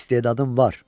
İstedadın var.